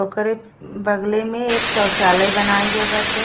ओकरे बगले में एक शौचालय बनाई गए बाटे।